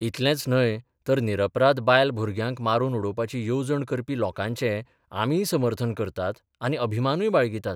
इतलेंच न्हय तर निरपराध बायल भुरग्यांक मारून उडोवपाची येवजण करपी लोकांचें आमीय समर्थन करतात आनी अभिमानूय बाळगितात.